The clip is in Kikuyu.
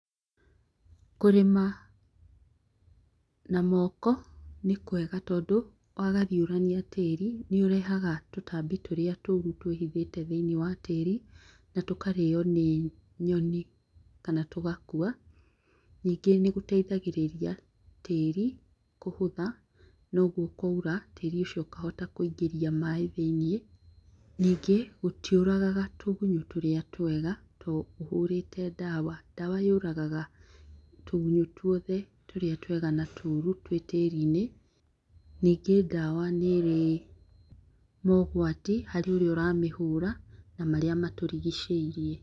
Kũrĩma na moko nĩkwega tondũ, wagariũrania tĩĩri nĩũrehaga tũtambi tũrĩa tũũru tũrĩa twĩhithĩte thĩiniĩ wa tĩĩri na tũkarĩo nĩ nyoni kana tũgakua. Nyingĩ nĩgũteithagĩrĩria tĩĩri kũhũtha, noguo kwaura tĩĩri ũcio ũkahota kũingĩria maĩ thĩiniĩ. Nyingĩ, gũtiũragaga tũgunyũ tũrĩa twega tũ ũhũrĩte ndawa. Ndawa yũragaga tũgunyũ tũrĩa twega na tũũru twĩ tĩĩrinĩ. Nyingĩ ndawa nĩĩrĩ mogwati harĩ ũrĩa ũramĩhũra na marĩa matũrigicĩirie.